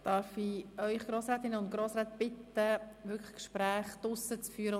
Darf ich alle Grossrätinnen und Grossräte darum bitten, Gespräche draussen zu führen.